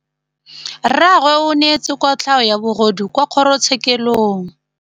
Rragwe o neetswe kotlhaô ya bogodu kwa kgoro tshêkêlông.